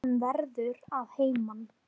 Hann verður að heiman.